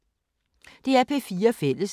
DR P4 Fælles